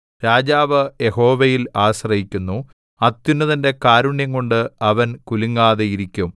രാജാവ് യഹോവയിൽ ആശ്രയിക്കുന്നു അത്യുന്നതന്റെ കാരുണ്യംകൊണ്ട് അവൻ കുലുങ്ങാതെയിരിക്കും